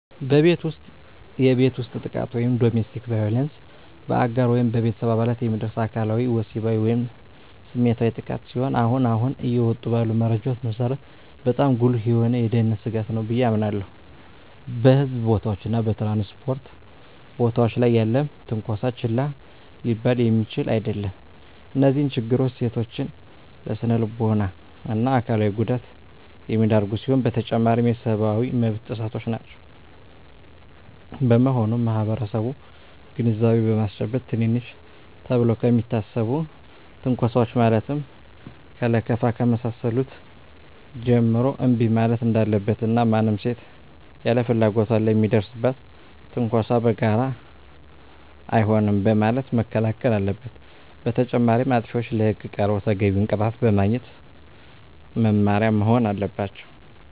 በቤት ውስጥ የቤት ውስጥ ጥቃት (Domestic Violence): በአጋር ወይም በቤተሰብ አባላት የሚደርስ አካላዊ፣ ወሲባዊ ወይም ስሜታዊ ጥቃት ሲሆን አሁን አሁን እየወጡ ባሉ መረጃዎች መሰረት በጣም ጉልህ የሆነ የደህንነት ስጋት ነው ብየ አምናለሁ። በሕዝብ ቦታዎች እና በ ትራንስፖርት ቦታወች ላይ ያለም ትነኮሳ ችላ ሊባል የሚችል አደለም። እነዚህ ችግሮች ሴቶችን ለስነልቦና እና አካላዊ ጉዳት የሚዳርጉ ሲሆኑ በተጨማሪም የሰብአዊ መብት ጥሰቶችም ናቸው። በመሆኑም ማህበረሰቡን ግንዛቤ በማስጨበጥ ትንንሽ ተብለው ከሚታሰቡ ትንኮሳወች ማለትም ከለከፋ ከመሳሰሉት ጀምሮ እንቢ ማለት እንዳለበት እና ማንም ሴት ያለ ፍላጎቷ ለሚደርስባት ትንኮሳ በጋራ አይሆንም በማለት መከላከል አለበት። በተጨማሪም አጥፊዎች ለህግ ቀርበው ተገቢውን ቅጣት በማግኘት መማሪያ መሆን አለባቸው።